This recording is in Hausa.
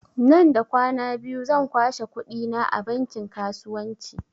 Nan da kwana biyu zan kwashe kuɗi na a bankin kasuwanci